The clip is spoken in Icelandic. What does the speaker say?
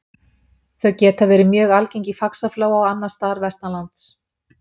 Þau geta verið mjög algeng í Faxaflóa og annars staðar vestanlands.